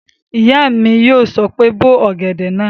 Ìyá mi yóò sọ pé "bó ọ̀gẹ̀dẹ̀ náà!"